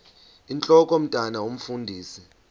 intlok omntwan omfundisi